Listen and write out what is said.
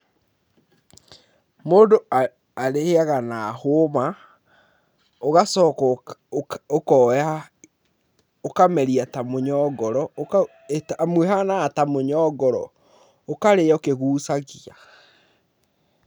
Mũndũ arĩaga na hũma, ũgacoka ũkoya ũkameria ta mũnyongoro, amu ĩhanaga ta mũnyongoro, ũkarĩa ũkĩgucagia.